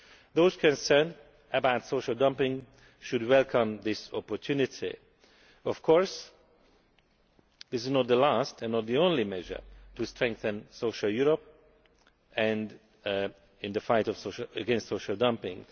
Those concerned about social dumping should welcome this opportunity. Of course this is not the last, and not the only, measure to strengthen social Europe in the fight against social dumping.